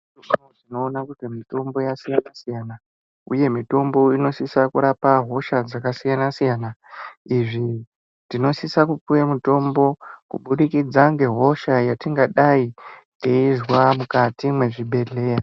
Tinoona kuti mitombo yasina-siyana uye mitombo inosisa kurapa hosha dzakasiyana-siyana. Izvi tinosisa kupuwe mitombo kubudikidza hosha yatingadai teizwa mukati mwezvibhehleya.